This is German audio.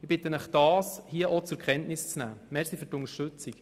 Ich bitte Sie, dies zur Kenntnis zu nehmen.